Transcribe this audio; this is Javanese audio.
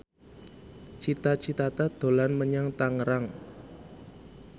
Cita Citata dolan menyang Tangerang